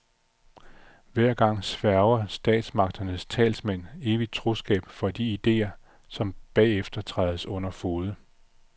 Hver gang sværger statsmagternes talsmænd evigt troskab over for idéer, som bagefter trædes under fode.